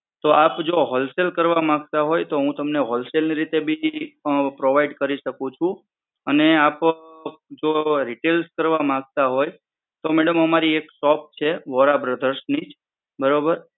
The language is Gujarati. આપ જો Wholesale કરવા માંગતા હોય તો હું તમને Wholesale ની રીતે પણ provide કરી શકું છું. અને આપ જો Retail કરવા માંગતા હોય તો madam અમારી એક shop છે વોરા Brother ની જ બરોબર